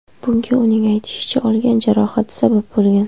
Bunga uning aytishicha, olgan jarohati sabab bo‘lgan.